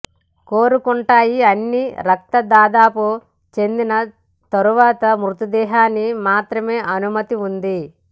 కోరుకుంటాయి అన్ని రక్త దాదాపు చిందిన తరువాత మృతదేహాన్ని మాత్రమే అనుమతి ఉంది